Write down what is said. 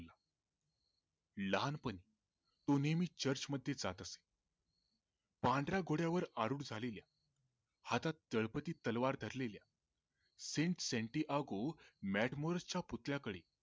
लहानपणी तो नेहमी चर्च मध्ये जात असे पांढऱ्या घोड्यावर आरुढ झालेल्या हातात तळपती तलवार धरलेलल्या set सेंटी आगो च्या पुतळ्याकडे